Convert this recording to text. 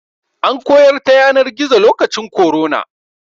An koyar ta yanar gizo lokacin korona.